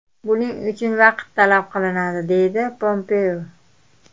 Buning uchun vaqt talab qilinadi”, – deydi Pompeo.